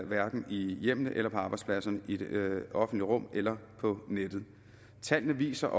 hverken i hjemmene eller på arbejdspladserne i det offentlige rum eller på nettet tallene viser